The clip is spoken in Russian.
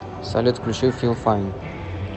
салют включи фил файн